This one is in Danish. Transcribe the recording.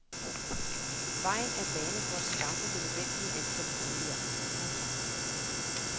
Vejen er banet for at skaffe det nødvendige antal boliger. punktum